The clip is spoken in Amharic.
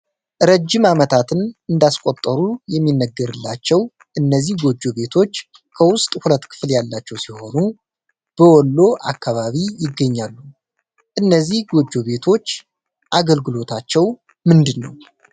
ረጅም አመታትን እንዳስቆጠሩ የሚነገርላቸው እነዚህ ጎጆ ቤቶች ከውስጥ ሁለት ክፍል ያላቸው ሲሆኑ። በወሎ አካባቢ ይገኛሉ። እነዚህ ጎጆ ቤቶች አገልግሎታቸው ምንድነው?